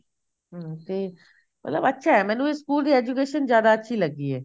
ਹਮ ਤੇ ਮਤਲਬ ਅੱਛਾ ਮੈਨੂੰ ਇਸ ਸਕੂਲ ਦੀ education ਸਬ ਤੋਂ ਜਿਆਦਾ ਅੱਛੀ ਲੱਗੀ ਐ